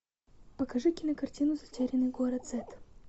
покажи кинокартину затерянный город зет